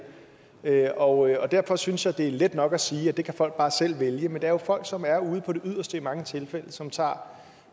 her og derfor synes jeg det er let nok at sige at det kan folk bare selv vælge men det er jo folk som er ude på det yderste i mange tilfælde og som tager